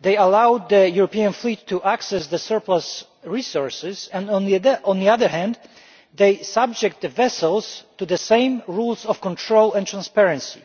they allow the European fleet to access the surplus resources, and on the other hand they subject the vessels to the same rules of control and transparency.